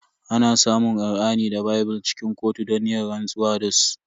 Ana samun Kur'ani da bible cikin kotu don yin rantsuwa da su.